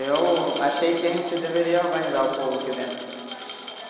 Eu achei que a gente deveria organizar o povo aqui dentro.